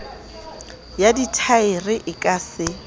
ya dithaere e ka se